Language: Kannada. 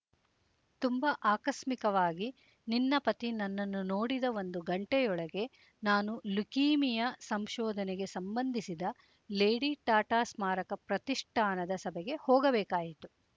ತುಂಬ ಆಕಸ್ಮಿಕವಾಗಿ ನಿನ್ನ ಪತಿ ನನ್ನನ್ನು ನೋಡಿದ ಒಂದು ಘಂಟೆಯೊಳಗೆ ನಾನು ಲುಕೀಮಿಯ ಸಂಶೋಧನೆಗೆ ಸಂಬಂಧಿಸಿದ ಲೇಡಿ ಟಾಟಾ ಸ್ಮಾರಕ ಪ್ರತಿಷ್ಠಾನದ ಸಭೆಗೆ ಹೋಗಬೇಕಾಯಿತು